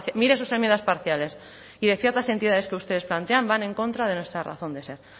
mire sus enmiendas parciales y de ciertas entidades que ustedes plantean van en contra de nuestra razón de ser